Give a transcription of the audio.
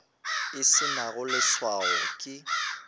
e se nago leswao ke